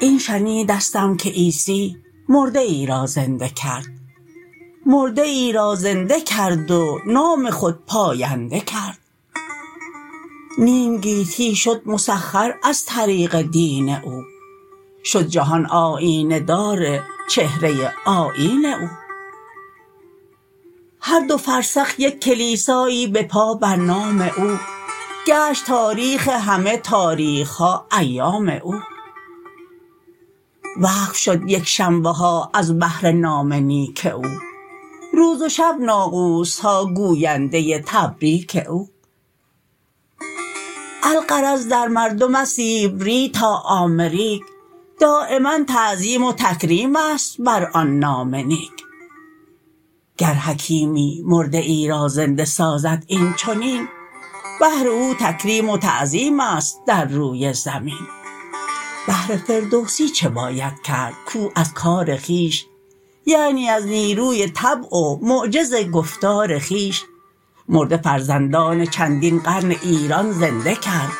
این شنیدستم که عیسی مرده ای را زنده کرد مرده ای را زنده کرد و نام خود پاینده کرد نیم گیتی شد مسخر از طریق دین او شد جهان آیینه دار چهره آیین او هر دو فرسخ یک کلیسایی به پا بر نام او گشت تاریخ همه تاریخ ها ایام او وقف شد یکشنبه ها از بهر نام نیک او روز و شب ناقوس ها گوینده تبریک او الغرض در مردم از سیبری تا آمریک دایما تعظیم و تکریم است بر آن نام نیک گر حکیمی مرده ای را زنده سازد اینچنین بهر او تکریم و تعظیم است در روی زمین بهر فردوسی چه باید کرد کو از کار خویش یعنی از نیروی طبع و معجز گفتار خویش مرده فرزندان چندین قرن ایران زنده کرد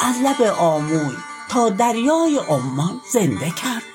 از لب آموی تا دریای عمان زنده کرد